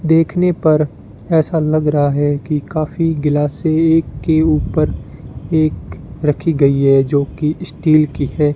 देखने पर ऐसा लग रहा है कि काफी गिलासे एक के ऊपर एक रखी गई है जो की स्टील की है।